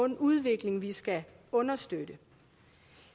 den udvikling vi skal understøtte